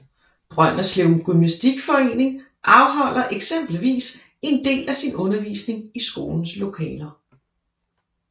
Brønderslev gymnastikforening afholder eksempelvis en del af sin undervisning i skolens lokaler